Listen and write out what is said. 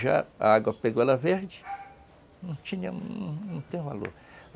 Já a água pegou ela verde, não tinha, não tem o valor.